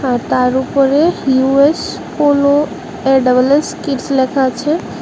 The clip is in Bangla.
আর তার উপরে US polo A double S kids লেখা আছে।